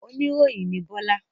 Oníròyìn ni Bọ́lá?